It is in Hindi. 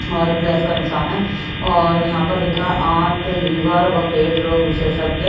और प्लस का निशान है और यहां पर लिखा है आत लीवर व पेट रोग विशेषज्ञ--